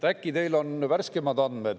Äkki teil on värskemad andmed?